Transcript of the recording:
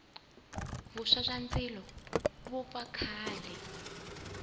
vuswa bya ndzilo byi vupfa kahle